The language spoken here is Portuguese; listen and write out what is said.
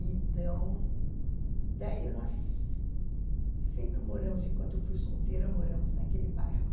Então... Daí nós sempre moramos, enquanto eu fui solteira, moramos naquele bairro.